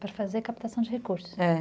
Para fazer captação de recursos.